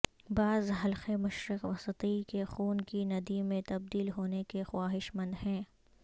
بعض حلقے مشرق وسطی کے خون کی ندی میں تبدیل ہونے کے خواہش مند ہیں